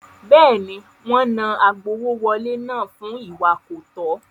Bẹ́ẹ̀ni, wọ́n náà agbowówọlé náà fún ìwà kọ̀tọ́.